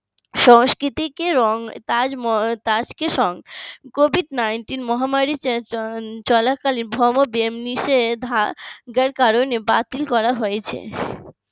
সংস্কৃতিকে রং তাজকে সং covid ninteen মহামারী চলাকালীন ব্যবধান নিষেধাজ্ঞার কারণে বাতিল করা হয়েছে